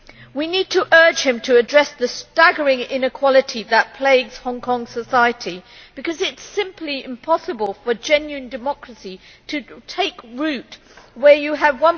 We need to urge him to address the staggering inequality that plagues Hong Kong society, because it is simply impossible for genuine democracy to take root where you have